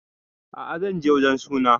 A'a zan je wajen sunan